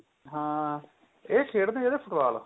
ਹਾਂ ਇਹ ਖੇਡਦੇ ਜਿਹੜੇ football